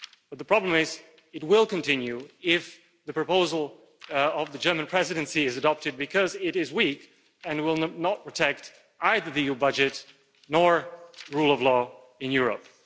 But the problem is that it will continue if the proposal of the German Presidency is adopted because it is weak and will not protect either the EU budget or the rule of law in Europe.